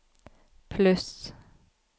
pluss